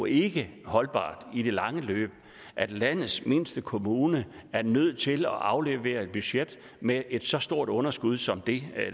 ikke holdbart i det lange løb at landets mindste kommune er nødt til at aflevere et budget med et så stort underskud som det